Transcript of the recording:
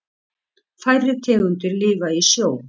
Færri tegundir lifa í sjó.